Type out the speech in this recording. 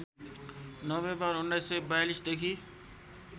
November १९४२ देखि